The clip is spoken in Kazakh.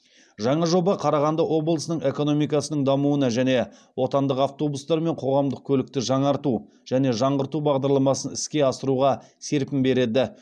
жаңа жоба қарағанды облысының экономикасының дамуына және отандық автобустармен қоғамдық көлікті жаңарту және жаңғырту бағдарламасын іске асыруға серпін береді